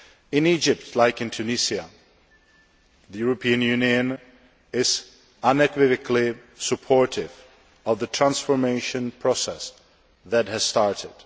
In Egypt, as in Tunisia, the European Union is unequivocally supportive of the transformation process that has started.